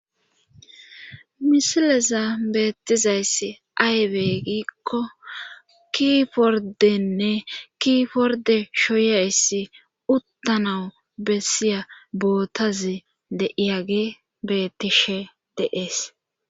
misileza beettizayssi aybey giikko ki pordenne ki porde shoyayssi uttanawu bessiya bootazi de iyagi bettishe deees